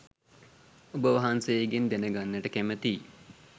ඔබ වහන්සේගෙන් දැන ගන්නට කැමැතියි.